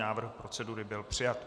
Návrh procedury byl přijat.